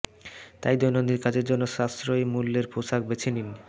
তাই দৈনন্দিন কাজের জন্য সাশ্রয়ী মূল্যের পোশাক বেছে নেন